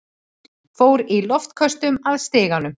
Fór í loftköstum að stiganum.